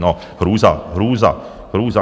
No hrůza, hrůza, hrůza.